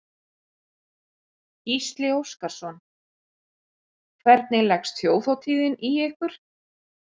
Gísli Óskarsson: Hvernig leggst Þjóðhátíðin í ykkur?